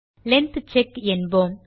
length check என்போம்